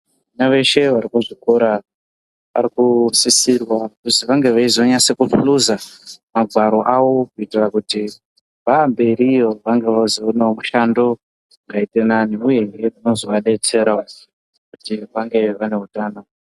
Vana veshe varikuzvikora variku sisirwa kuzi vange veinyasto nhluza magwaro awo kuitira kuti vaamberiyo vange veizoonawo mushando wakaite nani uyehe unozoadetserawo kuti vazenge vaneutano.